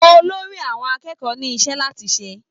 Olórí àwọn akẹ́kọ̀ọ́ ní iṣẹ́ láti ṣe